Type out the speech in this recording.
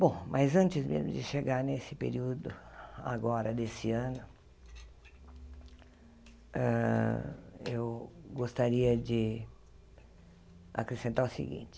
Bom, mas antes mesmo de chegar nesse período agora desse ano, hã eu gostaria de acrescentar o seguinte.